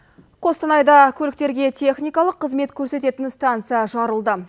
қостанайда көліктерге техникалық қызмет көрсететін станция жарылды